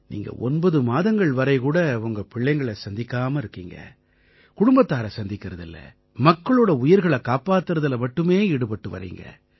நீங்க ஒன்பது மாதங்கள் வரை கூட உங்க பிள்ளைங்களை சந்திக்காம இருக்கீங்க குடும்பத்தாரை சந்திக்கறதில்லை மக்களோட உயிர்களைக் காப்பாத்தறதுல மட்டுமே ஈடுபட்டு வர்றீங்க